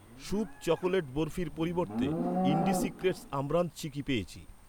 Shubh chocolate বরফির পরিবর্তে, ইন্ডিসিক্রেটস আমরান্থ চিকি পেয়েছি।